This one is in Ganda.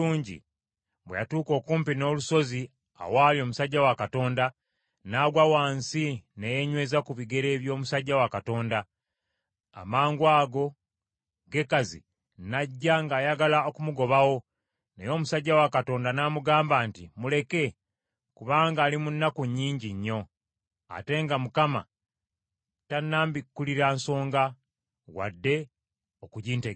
Bwe yatuuka okumpi n’olusozi awaali omusajja wa Katonda, n’agwa wansi ne yeenyweza ku bigere by’omusajja wa Katonda. Amangwago Gekazi n’ajja ng’ayagala okumugobawo, naye omusajja wa Katonda n’amugamba nti, “Muleke! Kubanga ali mu nnaku nnyingi nnyo, ate nga Mukama tannambikkulira nsonga, wadde okugintegeeza.”